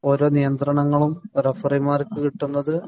ഓരോ നിയന്ത്രണങ്ങളും റഫറിമാര്‍ക്ക് കിട്ടുന്നത്.